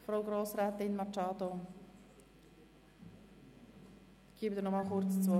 Ich gebe Grossrätin Machado Rebmann nochmals kurz das Wort.